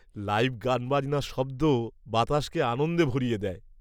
Live গানবাজনার শব্দ বাতাসকে আনন্দে ভরিয়ে দেয়।